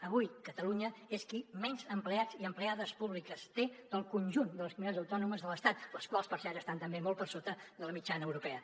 avui catalunya és qui menys empleats i empleades públiques té del conjunt de les comunitats autònomes de l’estat les quals per cert estan també molt per sota de la mitjana europea